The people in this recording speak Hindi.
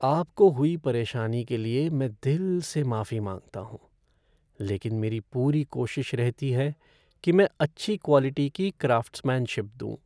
आपको हुई परेशानी के लिए मैं दिल से माफी मांगता हूँ, लेकिन मेरी पूरी कोशिश रहती है कि मैं अच्छी क्वालिटी की क्राफ़्ट्समैनशिप दूँ।